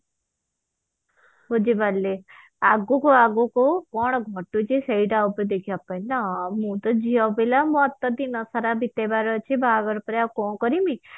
ବୁଝି ପାରିଲି ଆଗକୁ ଆଗକୁ କଣ ଘଟୁଛି ସେଇଟା ଉପରେ ଦେଖିବା ପାଇଁ ନା ମୁଁ ତ ଝିଅ ପିଲା ମତେ ଦିନସାରା ବିତେଇବାର ଅଛି ବାହାଘର ପରେ ଆଉ କଣ କରିବି